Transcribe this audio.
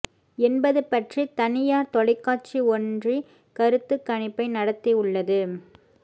என்பது பற்றி தனியார் தொலைக்காட்சி ஒன்றி கருத்து கணிப்பை நடத்தி உள்ளது